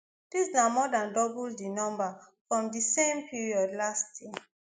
dis na more dan double di number from di same period last year